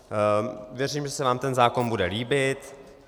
Věřím, že se vám ten zákon bude líbit.